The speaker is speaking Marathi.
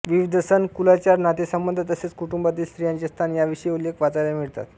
विविध सण कुलाचार नातेसंबंध तसेच कुटुंबातील स्त्रियांचे स्थान याविषयी उल्लेख वाचायला मिळतात